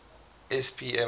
spma